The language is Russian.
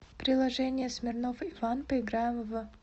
приложение смирнов иван поиграем в